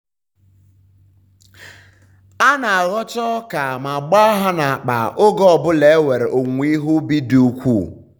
a na-aghọcha ọka ma gbaa ha n'akpa oge ọ bụla enwere owuwe ihe ubi dị ukwuu.